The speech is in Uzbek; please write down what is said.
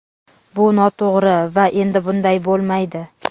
Bu noto‘g‘ri va endi bunday bo‘lmaydi.